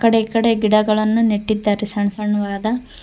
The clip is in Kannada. ಆಕಡೆ ಈಕಡೆ ಗಿಡಗಳನ್ನು ನೆಟ್ಟಿದ್ದಾರೆ ಸಣ್ಣ ಸಣ್ಣವಾದ--